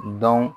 Dɔn